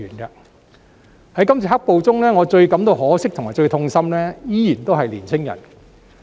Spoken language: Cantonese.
在今次"黑暴"中，我感到最可惜和最痛心的依然是年青人。